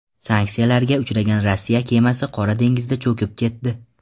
Sanksiyalarga uchragan Rossiya kemasi Qora dengizda cho‘kib ketdi.